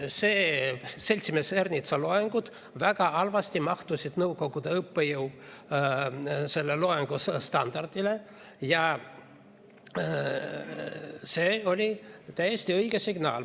Seltsimees Ernitsa loengud väga halvasti vastasid nõukogude õppejõu loengustandardile ja see oli täiesti õige signaal.